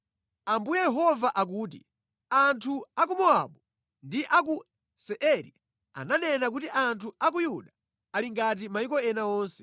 “Ambuye Yehova akuti, ‘Anthu a ku Mowabu ndi a ku Seiri ananena kuti anthu a ku Yuda ali ngati mayiko ena onse.’